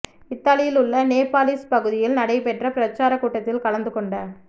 இத்தாலியில் உள்ள நேபாளிஸ் பகுதியில் நடைபெற்ற பிரச்சார கூட்டத்தில் கலந்து கொண்ட